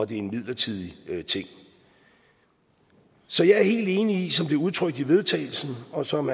det er en midlertidig ting så jeg er helt enig i som det er udtrykt i vedtagelsen og som